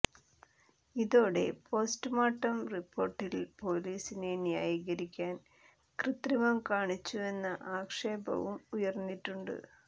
ഇതോടെ പോസ്റ്റുമോർട്ടം റിപ്പോർട്ടിൽ പൊലീസിനെ ന്യായീകരിക്കാൻ കൃത്രിമം കാണിച്ചുവെന്ന ആക്ഷേപവും ഉയർന്നിട്ടുണ്ട്